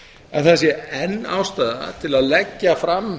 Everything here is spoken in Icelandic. en það sé enn ástæða til að leggja fram